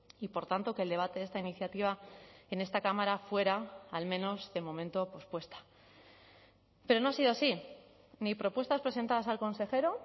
y por tanto que el debate de esta iniciativa en esta cámara fuera al menos de momento pospuesta pero no ha sido así ni propuestas presentadas al consejero